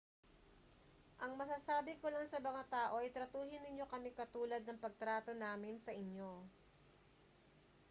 ang masasabi ko lang sa mga tao ay tratuhin ninyo kami katulad ng pagtrato namin sa inyo